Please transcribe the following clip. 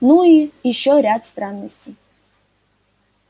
ну и ещё ряд странностей